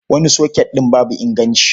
Wani soket ɗin babu inganci.